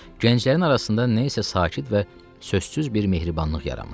Gənclərin arasında nə isə sakit və sözsüz bir mehribanlıq yaranmışdı.